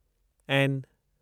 N